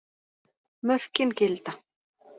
Mörkin gilda.